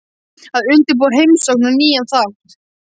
Að undirbúa heimsókn og nýjan þátt